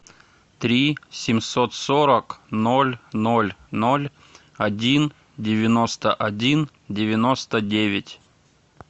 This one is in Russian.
три семьсот сорок ноль ноль ноль один девяносто один девяносто девять